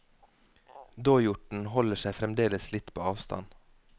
Dåhjorten holder seg fremdeles litt på avstand.